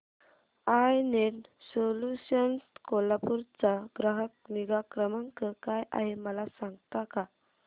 I net solutions Kolhapur चा ग्राहक निगा क्रमांक काय आहे मला सांगता का